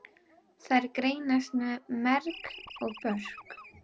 Þær greinast í merg og börk.